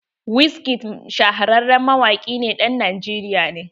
Wizkid shahararren mawaƙin ɗan Najeriya ne.